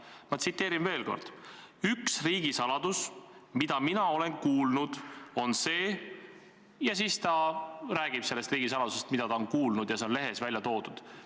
Ma tsiteerin veel kord: "Üks riigisaladus, mida mina olen kuulnud, on see ...", ja siis ta rääkis sellest riigisaladusest, mida ta oli kuulnud, ja see on lehes ära toodud.